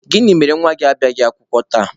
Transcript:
Gịnị mere na nwa gị abịaghị akwụkwọ tata?